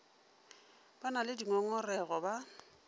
ba na le dingongorego ba